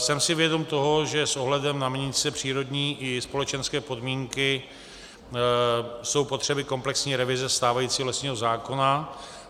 Jsem si vědom toho, že s ohledem na měnící se přírodní i společenské podmínky jsou potřeby komplexní revize stávajícího lesního zákona.